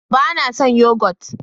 ba na san yogot